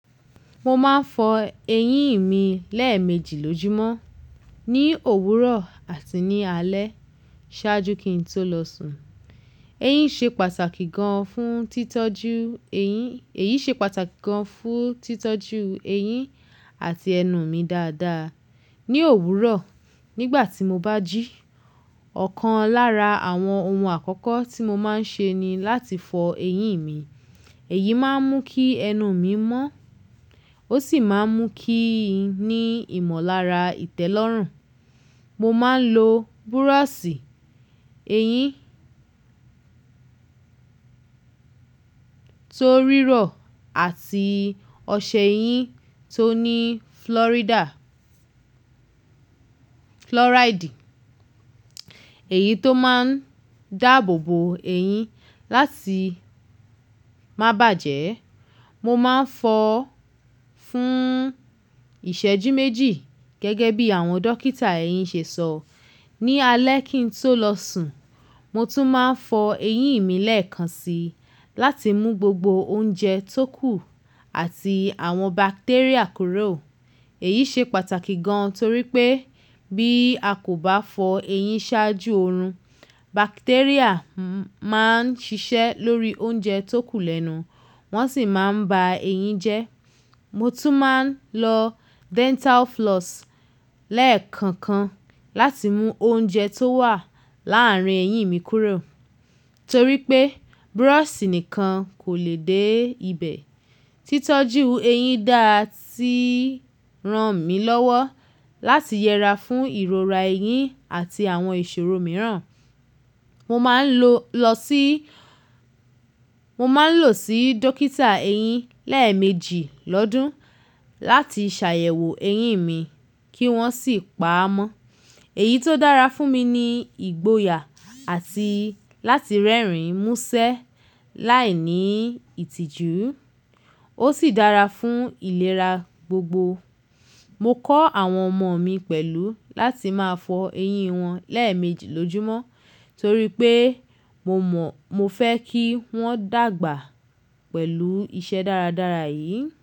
Mo máa ń fọ eyín mi lẹ́ẹ̀mejì lójúmọ́, ní òwúrọ̀ àti ní alẹ́ ṣáájú kí n tó lọ sùn. Eyín ṣe pàtàkì gan fún títọ́jú eyín, èyí ṣe pàtàkì gan fún títọ́jú eyín àti ẹnu mi dáadáa. Ní òwúrọ̀, nígbà tí mo bá jí, ọ̀kan lára àwọn ohun àkọ́kọ́ tí mo máa ń ṣe ni láti fọ eyín mi. Èyí máa ń mú kí ẹnu mi mọ́, ó sì máa ń mú kí n ní ìmọ̀lára ìtẹ́lọ́rùn. Mo máa ń lo búrọ̀sì eyín tó rírọ̀ àti ọṣẹ eyín tó ní flórídà flóràídì. Èyí tó máa ń dáàbò bo eyín láti má bàjẹ́. Mo máa ń fọ fún ìṣẹ́jú méjì gẹ́gẹ́ bí àwọn dókítà eyín ṣe sọ. Ní alẹ́ kí n tó lọ sùn, mo tún máa ń fọ eyín mi lẹ́ẹ̀kan si láti mú gbogbo oúnjẹ tó kù àti àwọn bacteria kúrò. Èyí ṣe pàtàkì gan torí pé bí a kò bá fọ eyín ṣáájú orun, bacteria máa ń ṣiṣẹ́ lórí oúnjẹ tó kù lẹ́nu, wọ́n sì máa ń ba eyín jẹ́. Mo tún máa ń lo dental floss lẹ́ẹ̀kankan láti mú oúnjẹ tó wà láàárín eyín mi kúrò torí pé búrọ̀sì nìkan kò lè dé ibẹ̀. Títọ́jú eyín dáa ti ràn mí lọ́wọ́ láti yẹra fún ìrora eyín àti àwọn ìṣòro mìíràn. Mo máa ń lo lọ sí, mo máa ń lọ sí dókítà eyín lẹ́ẹ̀mejì lọ́dún láti ṣàyẹ̀wò eyín mi kí wọ́n sì pa á mọ́. Èyí tó dára fún mi ni ìgboyà àti láti rẹ́rìn mú ṣẹ́ láìní ìtìjú, ó sì dára fún ìlera gbogbo. Mo kọ́ àwọn ọmọ mi pẹ̀lú láti máa fọ eyín wọn lẹ́ẹ̀mejì lójúmọ́ torí pé mo mọ̀, mo fẹ́ kí wọ́n dàgbà pẹ̀lú iṣẹ́ dáradára yìí.